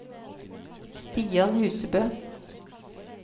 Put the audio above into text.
Stian Husebø